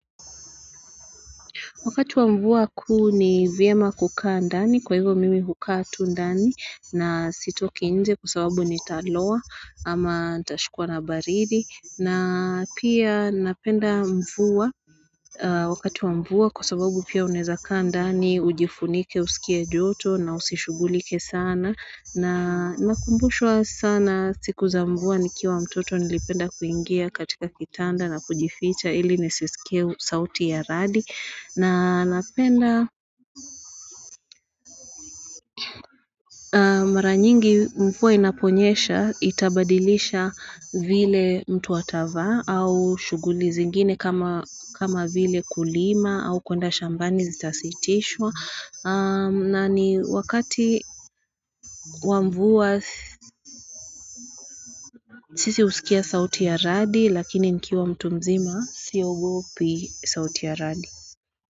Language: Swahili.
Wakati wa mvua kuu ni vyema kukaa ndani kwa hivyo mimi hukaa tu ndani na sitoki nje kusababu ni taloa ama ntashikwa na baridi na pia napenda mvua wakati wa mvua kusababu pia uneza kaa ndani ujifunike usikia joto na usishughulike sana. Nakumbushwa sana siku za mvua nikiwa mtoto nilipenda kuingia katika kitanda na kujificha ili nisisikue sauti ya radi na napenda maranyingi mvua inaponyesha itabadilisha vile mtu atavaa au shughuli zingine kama vile kulima au kwenda shambani zitasitishwa na ni wakati wa mvua sisi husikia sauti ya radi lakini nikiwa mtu mzima siogopi sauti ya radi.